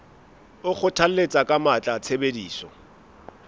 o kgothalletsa ka matla tshebediso